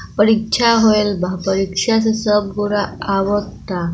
परीक्षा होयल बा परीक्षा से सब गौरा आवत अ--